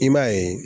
I b'a ye